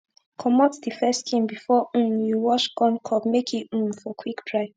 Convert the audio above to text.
comot d first skin before um you wash corn cob make e um for quick dry